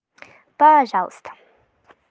пожалуйста